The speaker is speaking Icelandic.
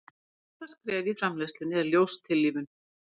en fyrsta skref í framleiðslunni er ljóstillífun